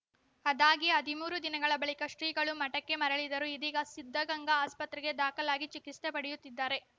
ಅದಾಗಿ ಹದಿಮೂರು ದಿನಗಳ ಬಳಿಕ ಶ್ರೀಗಳು ಮಠಕ್ಕೆ ಮರಳಿದರು ಇದೀಗ ಸಿದ್ಧಗಂಗಾ ಆಸ್ಪತ್ರೆಗೆ ದಾಖಲಾಗಿ ಚಿಕಿತ್ಸೆ ಪಡೆಯುತ್ತಿದ್ದಾರೆ